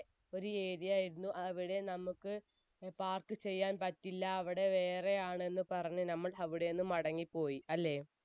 ഒരു area ആയിരുന്നു, അവിടെ നമുക്ക് park ചെയ്യാൻ പറ്റില്ല, അവിടെ വേറെ ആണെന്ന് പറഞ്ഞു നമ്മൾ അവിടെ നിന്നും മടങ്ങിപ്പോയി